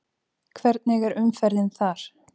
Hvernig er umferðin þar?